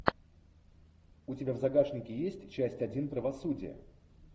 у тебя в загашнике есть часть один правосудие